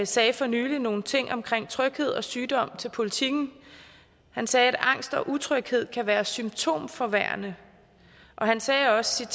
sagde for nylig nogle ting om tryghed og sygdom til politiken han sagde at angst og utryghed kan være symptomforværrende og han sagde også